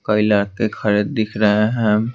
कई लड़के खड़े दिख रहे है।